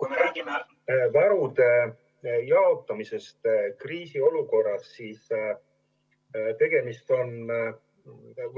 Kui me räägime varude jaotamisest kriisiolukorras, siis